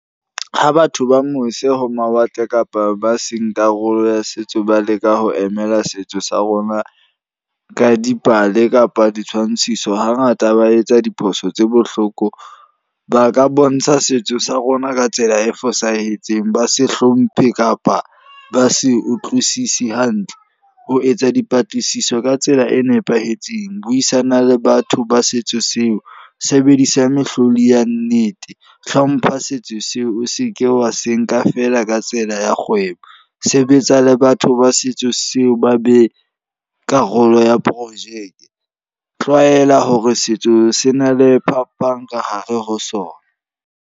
Ha batho ba mose ho mawatle kapa ba seng karolo ya setso ba leka ho emela setso sa rona ka dipale kapa ditshwantshiso. Ha ngata ba etsa diphoso tse bohloko, ba ka bontsha setso sa rona ka tsela e fosahetseng. Ba se hlomphe kapa ba se utlwisisi hantle. Ho etsa dipatlisiso ka tsela e nepahetseng, buisana le batho ba setso seo. Sebedisa mehlodi ya nnete, hlompha setso seo o se ke wa se nka feela ka tsela ya kgwebo. Sebetsa le batho ba setso seo ba be karolo ya projeke. Tlwaela hore setso se na le phapang ka hare ho sona.